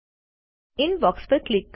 inbox પર click કરો